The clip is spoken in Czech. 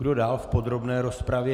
Kdo dál v podrobné rozpravě?